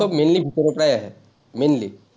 mainly ভিতৰৰ পৰাই আহে, mainly